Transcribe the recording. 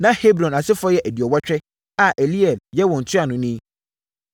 Na Hebron asefoɔ yɛ aduɔwɔtwe (80) a Eliel yɛ wɔn ntuanoni.